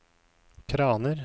kraner